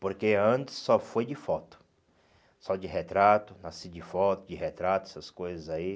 Porque antes só foi de foto, só de retrato, nasci de foto, de retrato, essas coisas aí.